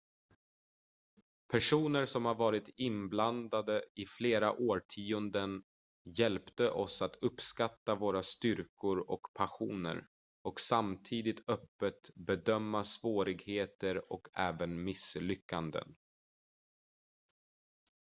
personer som varit inblandade i flera årtionden hjälpte oss att uppskatta våra styrkor och passioner och samtidigt öppet bedöma svårigheter och även misslyckanden